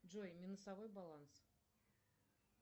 джой минусовой баланс